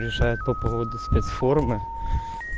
решает по поводу спецформы